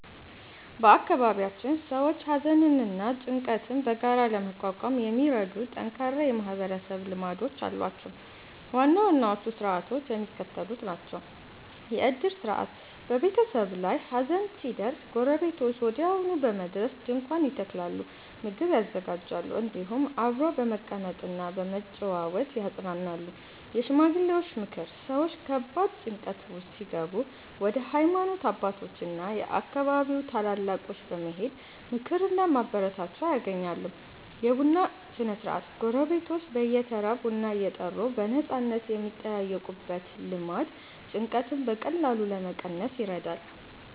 በአካባቢያችን ሰዎች ሐዘንና ጭንቀትን በጋራ ለመቋቋም የሚረዱ ጠንካራ የማህበረሰብ ልማዶች አሏቸው። ዋና ዋናዎቹ ሥርዓቶች የሚከተሉት ናቸው፦ የዕድር ሥርዓት፦ በቤተሰብ ላይ ሐዘን ሲደርስ ጎረቤቶች ወዲያውኑ በመድረስ ድንኳን ይተክላሉ፣ ምግብ ያዘጋጃሉ፤ እንዲሁም አብረው በመቀመጥና በመጨዋወት ያጽናናሉ። የሽማግሌዎች ምክር፦ ሰዎች ከባድ ጭንቀት ውስጥ ሲገቡ ወደ ሃይማኖት አባቶችና የአካባቢው ታላላቆች በመሄድ ምክርና ማበረታቻ ያገኛሉ። የቡና ሥነ-ሥርዓት፦ ጎረቤቶች በየተራ ቡና እየጠሩ በነፃነት የሚጠያየቁበት ልማድ ጭንቀትን በቀላሉ ለመቀነስ ይረዳል።